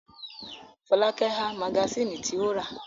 Fọlákẹ́ ha magasínì tí ó rà.